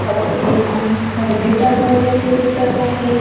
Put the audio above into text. कपडे आणि थैले टंगवलेले दिसत आहेत.